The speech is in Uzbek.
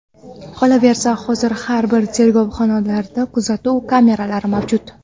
Qolaversa, hozir har bir tergov xonalarida kuzatuv kameralari mavjud.